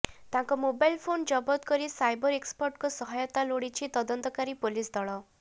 ତାଙ୍କ mobile phone ଜବତ କରି ସାଇବର୍ ଏକ୍ସପର୍ଟଙ୍କ ସହାୟତା ଲୋଡ଼ିଛି ତଦନ୍ତକାରୀ ପୋଲିସ ଦଳ